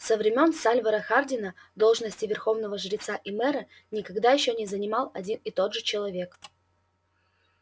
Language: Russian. со времён сальвора хардина должности верховного жреца и мэра никогда ещё не занимал один и тот же человек